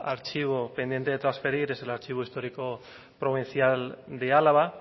archivo pendiente de trasferir es el archivo histórico provincial de álava